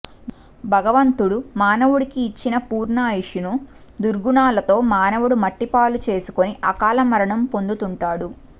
భగవంతుడు మానవుడికి ఇచ్చిన పూర్ణాయుస్షును దుర్గుణాలతో మానవుడు మట్టిపాలు చేసుకుని అకాలమరణం పొందుతుంటాడు